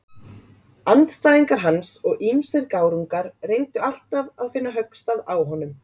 Andstæðingar hans og ýmsir gárungar reyndu alltaf að finna höggstað á honum.